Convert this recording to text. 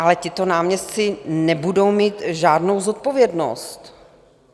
Ale tito náměstci nebudou mít žádnou zodpovědnost.